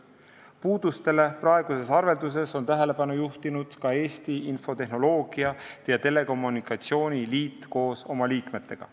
Puudustele praeguses arvelduses on tähelepanu juhtinud ka Eesti Infotehnoloogia ja Telekommunikatsiooni Liit koos oma liikmetega.